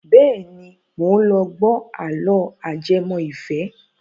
Bẹ́ẹ̀ni, mò ń lọ gbọ́ àlọ́ ajẹmọ́ ìfẹ́.